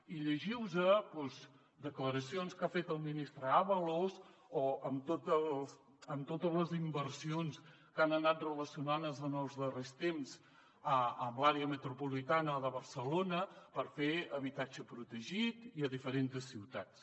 i llegiu vos doncs declaracions que ha fet el ministre ábalos amb totes les inversions que han anat relacionades en els darrers temps amb l’àrea metropolitana de barcelona per fer habitatge protegit i a diferents ciutats